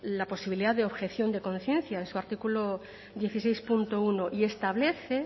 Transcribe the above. la posibilidad de objeción de conciencia en su artículo dieciséis punto uno y establece